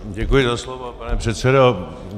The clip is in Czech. Děkuji za slovo, pane předsedo.